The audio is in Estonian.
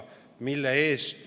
Mille eest?